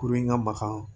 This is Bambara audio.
Kurun in ka magan